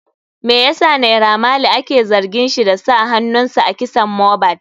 Me yasa naira marley ake zargin shi da sa hanunsa a kisan mohbad?